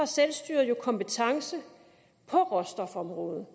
selvstyret har kompetence på råstofområdet